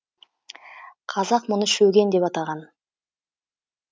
қазақ мұны шөген деп атаған